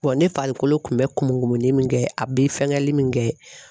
ne farikolo tun bɛ kumulen min kɛ a bɛ fɛnkɛli min kɛ.